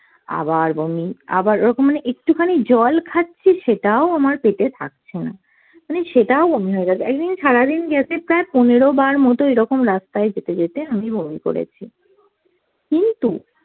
আবার বমি, আবার ওরকম মানে একটুখানি জল খাচ্ছি সেটাও আমার পেতে থাকছে না, মানে সেটাও বমি হয়ে যাচ্ছে। একদিন সারাদিন গেছে প্রায় পনেরো বার মতো এরকম রাস্তাই যেতে যেতে আমি বমি করেছি। কিন্তু